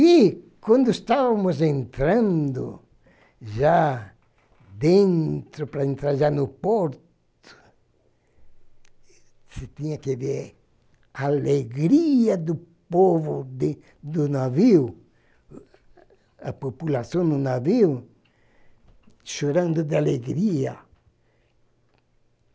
E, quando estávamos entrando, já dentro, para entrar já no porto, você tinha que ver a alegria do povo de do navio, a população no navio chorando de alegria.